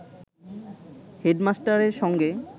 হেডমাস্টারের সঙ্গে